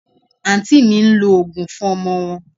Aunty mi ń lo òógùn fún ọmọ wọn